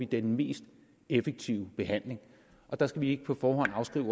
den mest effektive behandling og der skal vi ikke på forhånd afskrive